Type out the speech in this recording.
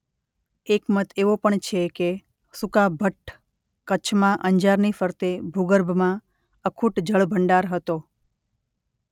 એક મત એવો પણ છે કે સુકાભઠ્ઠ કચ્છમાં અંજારની ફરતે ભૂગર્ભમાં અખૂટ જળ ભંડાર હતો.